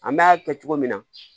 An bɛ a kɛ cogo min na